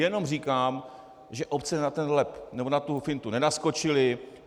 Jenom říkám, že obce na ten lep, nebo na tu fintu nenaskočily.